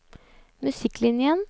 musikklinjen